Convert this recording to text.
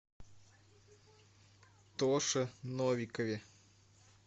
тоше новикове